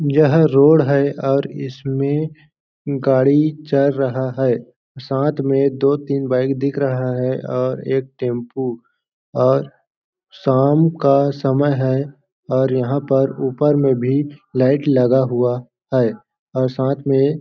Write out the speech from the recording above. यह रोड है और इसमें गाड़ी चल रहा है साथ में दो-तीन बाइक दिख रहा है और एक टेंपू और शाम का समय है और यहाँ पर ऊपर में भी लाइट लगा हुआ है और साथ में --